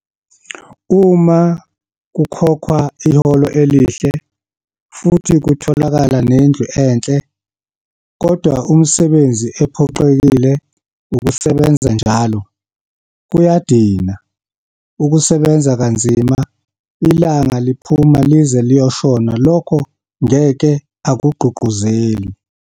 Uma kukhokhwa iholo elihle, futhi kutholakala nendlu enhle, kodwa umsebenzi ephoqelekile ukusebenza njalo, kuyadina, ukusebenza kanzima, ilanga liphuma lize liyoshona lokho ngeke akugqugquzeli.